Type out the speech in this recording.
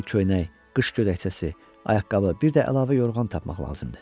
Ona bir köynək, qış gödəkçəsi, ayaqqabı, bir də əlavə yorğan tapmaq lazımdı.